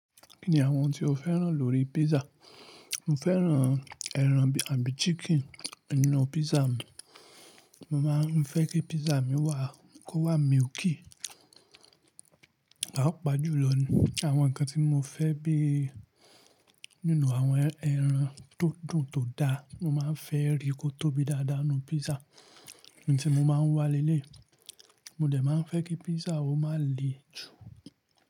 Kí ni àwọn ohun tí o féràn lórí pizza? Mo féràn ẹran bí i chicken nínú pizza mi. Mo máa ń fẹ́ kí pizza mi wà kó wá milky. Pàápàá jù lọ ni àwọn ǹkan tí mo fẹ́ bí nínú àwọn ẹran tódùn tó da, mo máa ń fẹ́ rí kó tóbi dáadáa nínú pizza, n tí mo máa ń wá lé lé i. Mo dẹ̀ máa ń fẹ́ kí pizza o máa le jù.